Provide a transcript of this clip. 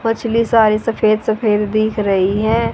मछली सारी सफेद सफेद दिख रही हैं।